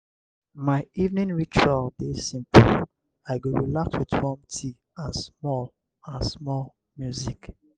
my evening ritual dey simple; i go relax with warm tea and small and small music.